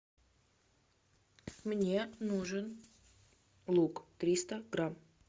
мне нужен лук триста грамм